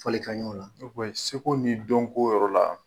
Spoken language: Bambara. seko ni dɔnko yɔrɔ la.